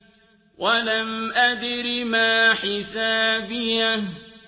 وَلَمْ أَدْرِ مَا حِسَابِيَهْ